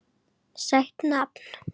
Sætt nafn.